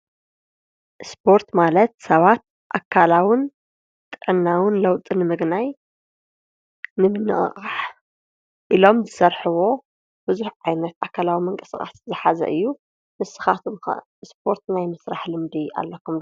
እስጶርት ማለት ሰባት ኣካላውን ጠናውን ለውጥን ምግናይ ንምነቐቓሕ ኢሎም ዘሠርሕቦ ብዙኅ ዓይነት ኣካላዊ ምን ቀሥቓት ዘኃዘ እዩ ንስኻቶኩም እስጶርት ናይ ምሥራሕ ልምዲ ኣለኹም